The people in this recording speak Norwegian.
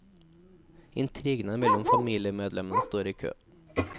Intrigene mellom familiemedlemmene står i kø.